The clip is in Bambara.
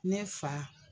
Ne fa